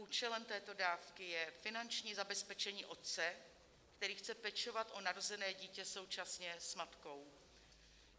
Účelem této dávky je finanční zabezpečení otce, který chce pečovat o narozené dítě současně s matkou.